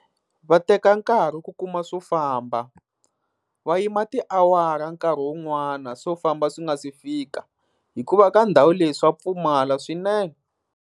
Va teka nkarhi ku kuma swo famba, va yima tiawara nkarhi wun'wana swo famba swi nga si fika. Hikuva ka ndhawu leyi swa pfumala swinene.